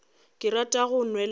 ke rata go nwela ka